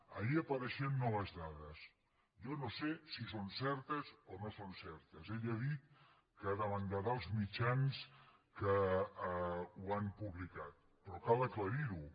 ahir apareixien noves dades jo no sé si són certes o no són certes ell ha dit que demandarà els mitjans que ho han publicat però cal aclarir ho